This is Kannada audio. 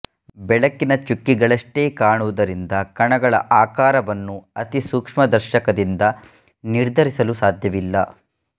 ಬೆಳಕಿನ ಚುಕ್ಕಿಗಳಷ್ಟೆ ಕಾಣುವುದರಿಂದ ಕಣಗಳ ಆಕಾರವನ್ನು ಅತಿಸೂಕ್ಷ್ಮದರ್ಶಕದಿಂದ ನಿರ್ಧರಿಸಲು ಸಾಧ್ಯವಿಲ್ಲ